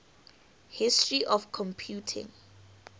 history of computing